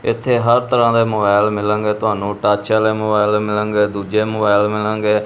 ਇਥੇ ਹਰ ਤਰ੍ਹਾਂ ਦੇ ਮੋਬਾਈਲ ਮਿਲਨਗੇ ਤੁਹਾਨੂੰ ਟਚ ਆਲ਼ੇ ਮੋਬਾਈਲ ਵੀ ਮਿਲਨਗੇ ਦੁੱਜੇ ਮੋਬਾਈਲ ਮਿਲਨਗੇ।